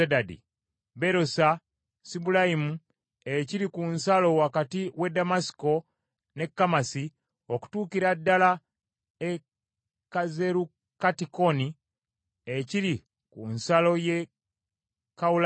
Berosa, Sibulayimu ekiri ku nsalo wakati w’e Ddamasiko n’e Kamasi, okutuukira ddala e Kazerukattikoni ekiri ku nsalo y’e Kawulaani.